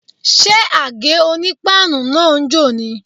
Ṣé àgé-onípáànù náà ń jò ni?